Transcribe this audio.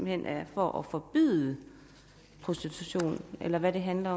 hen er for at forbyde prostitution eller hvad handler